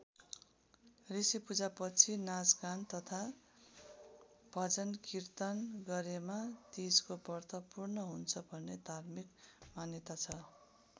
ऋषिपूजापछि नाचगान तथा भजनकीर्तन गरेमा तीजको व्रत पूर्ण हुन्छ भन्ने धार्मिक मान्यता छ।